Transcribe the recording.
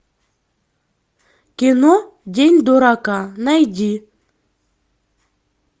кино день дурака найди